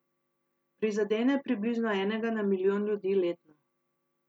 Prizadene približno enega na milijon ljudi letno.